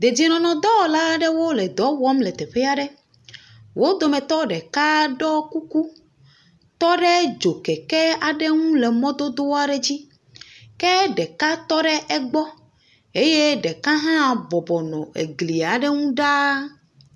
Dedienɔnɔdɔwɔla aɖewo le dɔ wɔm le teƒe aɖe, wo dometɔ ɖeka ɖɔ kuku, tɔ dzokeke aɖe ŋu le mɔdodoa dzi, ke ɖeka tɔ ɖe egbɔ eye ɖeka hã bɔbɔ nɔ egli aɖe ŋu ɖaa.